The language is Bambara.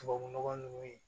Tubabunɔgɔ ninnu